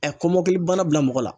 kɔmɔkili bana bila mɔgɔ la.